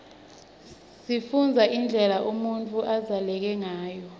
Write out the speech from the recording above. sifunbza indlela unutfu labzaleke ngayo